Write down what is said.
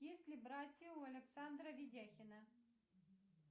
есть ли братья у александра видяхина